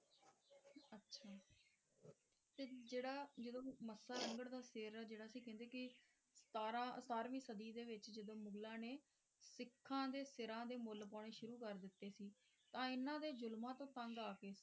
ਅੱਛਾ ਤੇ ਜਿਹੜਾ ਜਦੋਂ ਮੱਸਾ ਰੰਘੜ ਦਾ ਸਿਰ ਜਿਹੜਾ ਸੀ ਕਹਿੰਦੇ ਕਿ ਸਤਾਰਵੀਂ ਸਦੀ ਵਿਚ ਜਦੋ ਮੁਗਲਾਂ ਨੇ ਸਿੱਖਾਂ ਦੇ ਸਿਰਾਂ ਦੇ ਮੁੱਲ ਪਾਉਣੇ ਸ਼ੁਰੂ ਕਰ ਦਿੱਤੇ ਸੀ ਤਾਂ ਇਹਨਾਂ ਦੇ ਜ਼ੁਲਮਾਂ ਤੋਂ ਤੰਗ ਆ ਕੇ,